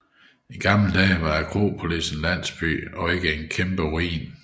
I gamle dage var Akropolis en landsby og ikke en kæmpe ruin